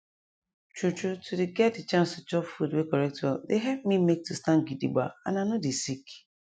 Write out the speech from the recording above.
true true to dey get de chance to chop food wey correct well dey help me make to stand gidigba and i nor dey sick